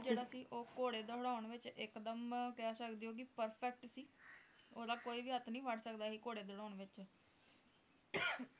ਨਲ ਜਿਹੜਾ ਸੀ ਘੋੜੇ ਦੁੜ੍ਹਾਉਂਣ ਵਿਚ ਇੱਕ ਦੱਮ ਕਹਿ ਸਕਦੇ ਹੀ ਕਿ perfect ਸੀ ਓਹਦਾ ਕੋਈ ਵੀ ਹੱਥ ਨਹੀਂ ਫੜ ਸਕਦਾ ਸੀ ਘੋੜੇ ਦੁੜ੍ਹਾਉਂਣ ਵਿਚ